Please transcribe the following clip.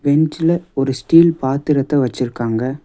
பென்ச்ல ஒரு ஸ்டீல் பாத்திரத்த வெச்சிருக்காங்க.